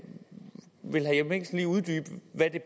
jeppe mikkelsen lige uddybe hvad